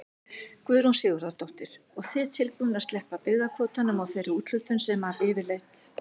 Guðrún Sigurðardóttir: Og þið tilbúnir að sleppa byggðakvótanum og þeirri úthlutun sem að yfirleitt?